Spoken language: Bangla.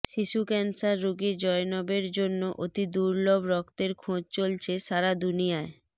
শিশু ক্যান্সার রোগী জয়নবের জন্য অতি দুর্লভ রক্তের খোঁজ চলছে সারা দুনিয়ায়